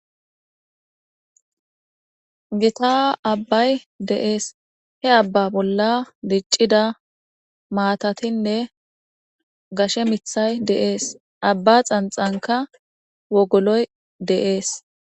Gitta abayi de'es he aba bolla dicida matatinee gashe mithay de'es aba xanixanika wogoloy de'es